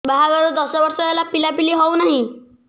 ବାହାଘର ଦଶ ବର୍ଷ ହେଲା ପିଲାପିଲି ହଉନାହି